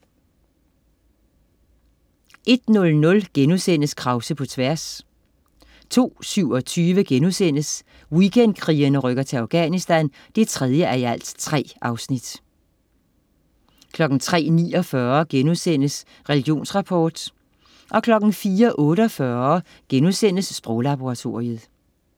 01.00 Krause på tværs* 02.27 Weekendkrigerne rykker til Afganisthan 3:3* 03.49 Religionsrapport* 04.48 Sproglaboratoriet*